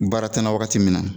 Baara tɛ n na wagati min na